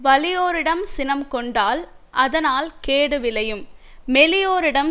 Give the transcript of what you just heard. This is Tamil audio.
வலியோரிடம் சினம் கொண்டால் அதனால் கேடு விளையும் மெலியோரிடம்